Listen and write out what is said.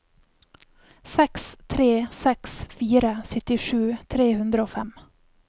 seks tre seks fire syttisju tre hundre og fem